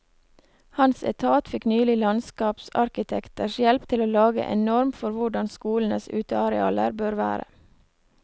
Hans etat fikk nylig landskapsarkitekters hjelp til å lage en norm for hvordan skolenes utearealer bør være.